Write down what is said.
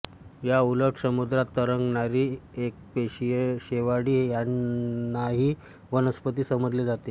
या उलट समुद्रात तरंगणारी एकपेशीय शेवाळी ह्यांनाही वनस्पती समजले जाते